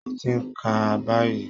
Mo ti ń kà á báyìí